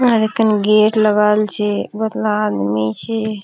इठीकिन गेट लगाल छे बोहोतला आदमी छे।